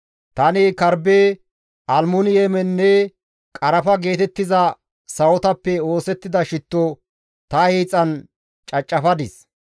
Tani karbbe, almmuniyemenne qarafa geetettiza sawotappe oosettida shitto ta hiixan cacafadis.